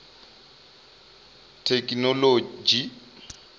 thekinoḽodzhi